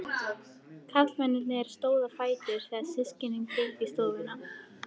Karlmennirnir stóðu á fætur þegar systkinin gengu í stofuna.